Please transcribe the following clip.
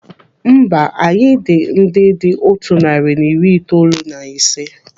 Mba, anyị dị ndị dị otu narị na iri itoolu na ise.